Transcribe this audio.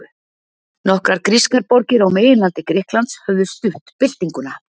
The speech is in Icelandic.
nokkrar grískar borgir á meginlandi grikklands höfðu stutt byltinguna